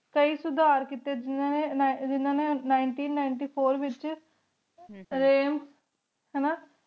ਕੇਈ ਸੁਧਾਰ ਕੇਤੀ ਇਨਾ ਨੀ ਨਿਨਿਤੀ ਨਿੰਤੀ ਫੋਉਰ ਵੇਚ ਰਹੀ ਹਾਨਾ